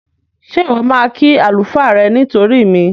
Ṣé Ìwọ́ máa kí àlùfáà rẹ nítorí mi?